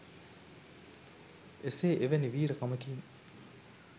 එසේ එවැනි වීර කමකින්